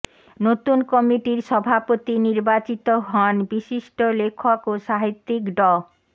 নতুন কমিটির সভাপতি নির্বাচিত হন বিশিষ্ট লেখক ও সাহিত্যিক ড